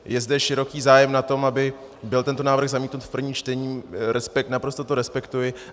Je zde široký zájem na tom, aby byl tento návrh zamítnut v prvním čtení, naprosto to respektuji.